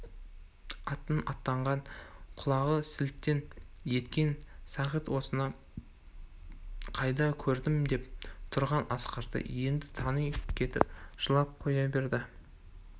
атын атағанға құлағы селтең еткен сағит осыны қайда көрдім деп тұрған асқарды енді тани кетіп жылап қоя берді